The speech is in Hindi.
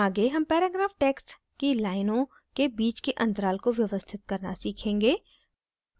आगे हम paragraph text की लाइनों के बीच के अंतराल को व्यवस्थित करना सीखेंगे